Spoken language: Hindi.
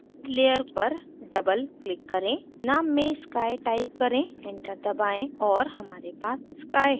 layer पर double click करें name में sky type करें enter दबाएं और हमारे पास sky है